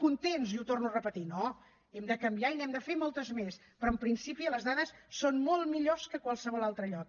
contents li ho torno a repetir no hem de canviar i n’hem de fer moltes més però en principi les dades són molt millors que en qualsevol altre lloc